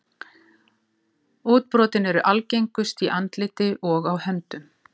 Útbrotin eru algengust í andliti og á höndum.